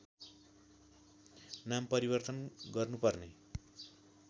नाम परिवर्तन गर्नुपर्ने